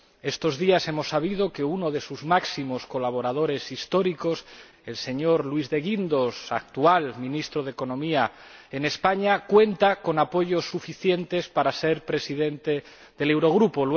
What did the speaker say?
Estos días hemos sabido que uno de sus máximos colaboradores históricos, el señor Luis de Guindos, actual ministro de Economía en España, cuenta con apoyos suficientes para ser presidente del Eurogrupo.